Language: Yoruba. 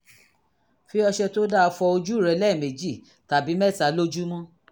fi ọṣẹ tó dáa fọ ojú rẹ lẹ́ẹ̀mejì tàbí mẹ́ta lójúmọ́